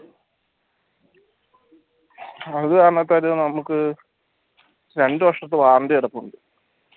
അത് അങ്ങനെ ഒരു നമുക്ക് രണ്ടു വർഷത്തെ warranty കിടപ്പുണ്ട്